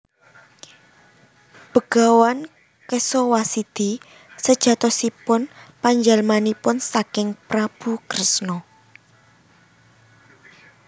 Begawan Kesawasidi sejatosipun panjalmanipun saking Prabu Kresna